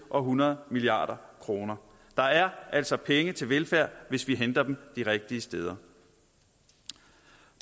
og hundrede milliard kroner der er altså penge til velfærd hvis vi henter dem de rigtige steder